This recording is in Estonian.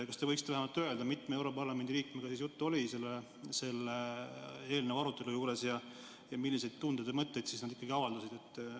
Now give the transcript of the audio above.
Kas te võiksite vähemalt öelda, mitme europarlamendi liikmega juttu oli selle eelnõu arutelu juures ja milliseid tundeid ja mõtteid siis nad ikkagi avaldasid?